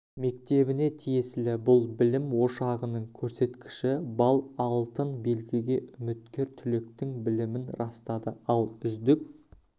мектебіне тиесілі бұл білім ошағының көрсеткіші балл алтын белгіге үміткер түлектің білімін растады ал үздік